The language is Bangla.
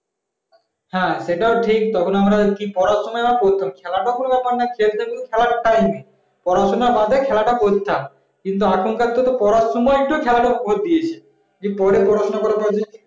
হ্যাঁ সেটাও ঠিক কি পড়াশুনায় বা করতাম খেলাটা তো কোন ব্যাপার নাই বিকেলে তো খেলার time এ পড়াশোনা বাদে খেলাটা করতাম কিন্তু এখনকার তো পড়ার সময় তো খেলাটা ভরে দিয়েছে। কি পড়ে পড়াশোনা করাটা